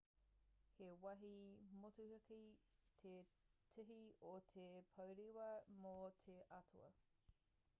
he wāhi motuhake te tihi o te pourewa mō te atua